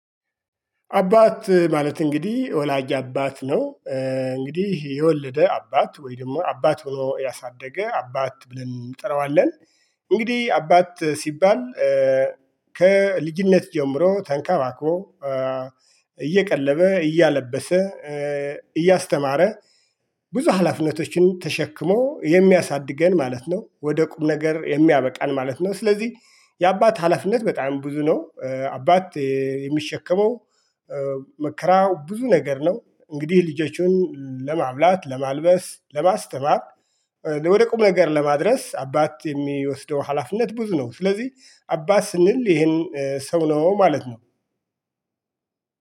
አባት ማለት እንግዲህ ወላጅ አባት ነው እንግዲህ የወለደ አባት ወይ ደግሞ አባት ሆኖ ያሳደገ አባት ብለን እንጠራዋለን እንግዲህ አባት ሲባል ከልጅነት ጀምሮ ተንከባክቦ እየቀለበ እያለበሰ እያስተማረ ብዙ ሀላፊነቶችን ተሸክሞ የሚያሳድገን ማለት ነው ወደ ቁም ነገር የሚያበቃን ማለት ነው ስለዚህ የአባት ሀላፊነት በጣም ብዙ ነው አባት የሚሸከመው መከራው ብዙ ነገር ነው እንግዲህ ልጆችን ለማብላት ለማልበስ ለማስተማር ወደ ቁም ነገር ለማድረስ አባት የሚወስደው ሀላፊነት ብዙ ነው ስለዚህ አባት ስንል ይሄን ሰው ነው ማለት ነው።